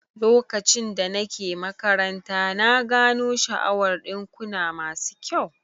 Lokacin da nake makaranta, na gano sha'awar dinkuna masu kyau